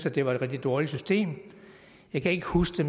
at det var et rigtigt dårligt system jeg kan ikke huske